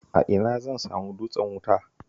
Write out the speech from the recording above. A ina zan samu dutsen wuta?